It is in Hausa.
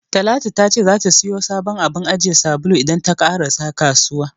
Talatu ta ce zata siyo sabon abun ajiye sabulu idan ta ƙarasa kasuwa.